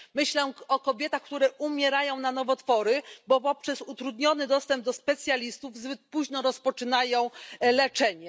Myślę o kobietach, które umierają na nowotwory, bo przez utrudniony dostęp do specjalistów zbyt późno rozpoczynają leczenie.